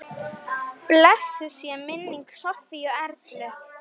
Blessuð sé minning Sofíu Erlu.